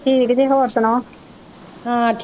ਠੀਕ ਜੀ ਹੋਰ ਸੁਣਾਓ ਹਾਂ।